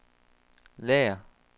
lager